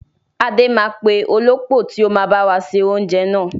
Adé máa pè olópò tíì ó máa báwa ṣe oúnjẹ náà